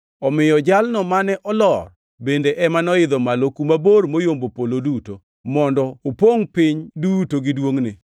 Omiyo Jalno mane olor bende ema noidho malo kuma bor moyombo polo duto, mondo opongʼ piny duto gi duongʼne.)